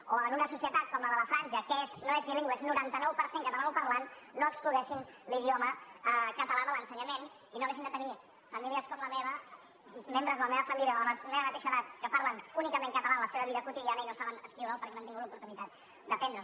o en una societat com la de la franja que no és bilingüe és noranta nou per cent catalanoparlant no excloguessin l’idioma català de l’ensenyament i no haguéssim de tenir famílies com la meva membres de la meva família de la meva mateixa edat que parlen únicament català en la seva vida quotidiana i no saben escriure’l perquè no han tingut l’oportunitat d’aprendre’l